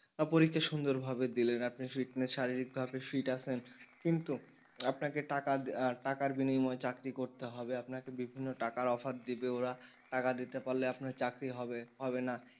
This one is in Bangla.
পরীক্ষা সুন্দর ভাবে দিলেন আপনি fitness শারীরিক ভাবে fit আছেন কিন্তু আপনাকে টাকা টাকার বিনিময়ে চাকরি করতে হবে আপনাকে বিভিন্ন টাকার offer দিবে ওরা টাকা দিতে পারলে আপনার চাকরি হবে হবে না,